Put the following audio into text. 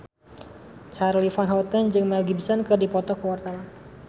Charly Van Houten jeung Mel Gibson keur dipoto ku wartawan